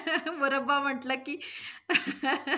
मुरब्बा म्हटलं की